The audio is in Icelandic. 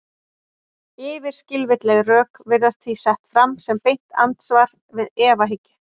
Yfirskilvitleg rök virðast því sett fram sem beint andsvar við efahyggju.